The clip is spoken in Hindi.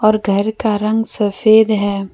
घर का रंग सफ़ेद है।